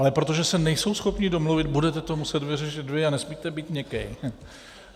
Ale protože se nejsou schopni domluvit, budete to muset vyřešit vy a nesmíte být měkký.